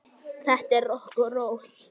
Þetta er rokk og ról.